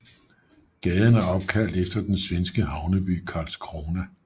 Gaden er opkaldt efter den svenske havneby Karlskrona